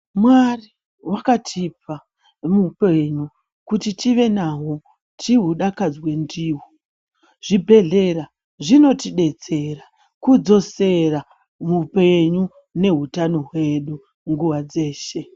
Mwari vakatipa muhupenyu kuti tive naho tihudakadzwe ndiwo zvibhedhlera zvinotidetsera kudzosera mupenyu nehutano hwedu nguwa dzeshe.